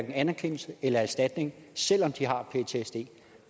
anerkendelse eller erstatning selv om de har ptsd